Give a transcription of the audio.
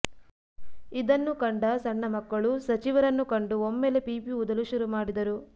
ಇದನ್ನು ಕಂಡ ಸಣ್ಣ ಮಕ್ಕಳು ಸಚಿವರನ್ನು ಕಂಡು ಒಮ್ಮೆಲೆ ಪೀಪಿ ಊದಲು ಶುರು ಮಾಡಿದರು